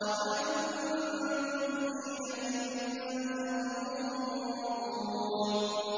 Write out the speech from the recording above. وَأَنتُمْ حِينَئِذٍ تَنظُرُونَ